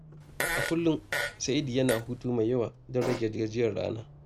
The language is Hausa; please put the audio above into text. A kullum, Sa’id yana hutu mai yawa domin ya rage gajiyar rana.